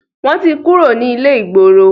wọ́n ti kúrò ní ilé-ìgboro.